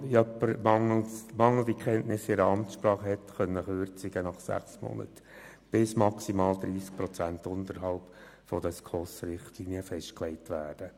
Wenn jemand mangelnde Kenntnisse einer Amtssprache hat, können aufgrund dieses Artikels nach sechs Monaten Kürzungen bis maximal 30 Prozent unterhalb der SKOS-Richtlinien festgelegt werden.